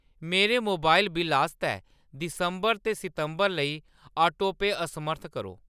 मेरे mobile bill आस्तै दिसंबर ते सितंबर लेई ऑटोपे असमर्थ करो।